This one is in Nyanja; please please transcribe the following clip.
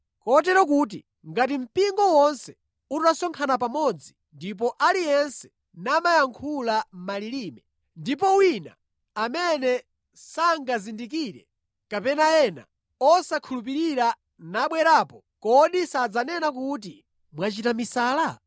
Kotero kuti ngati mpingo wonse utasonkhana pamodzi ndipo aliyense namayankhula malilime, ndipo wina amene sangazindikire kapena ena osakhulupirira nabwerapo, kodi sadzanena kuti mwachita misala?